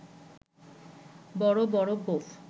বড় বড় গোঁফ